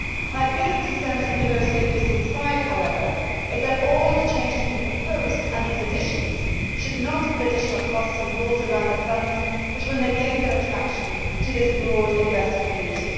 My biggest concern as we negotiate UCITS 5, however, is that all the changes being proposed and these additions should not put additional costs and rules around the funds that will negate their attraction to this broad investor community.